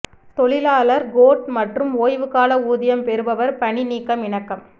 தொழிலாளர் கோட் மற்றும் ஓய்வு கால ஊதியம் பெறுபவர் பணி நீக்கம் இணக்கம்